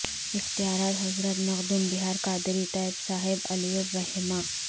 اختیارات حضرت مخدوم بہار قاری طیب صاحب علیہ الرحمہ